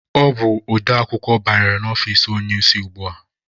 Ọ bụ odeakwụkwọ banyere na ọfici onye isi ugbua.